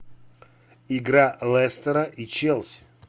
игра лестера и челси